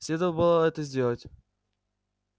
следовало бы это сделать